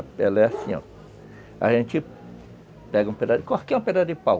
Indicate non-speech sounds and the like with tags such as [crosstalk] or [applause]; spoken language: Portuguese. A pele é assim, ó. A gente pega um pedaço [unintelligible] qualquer pedaço de pau.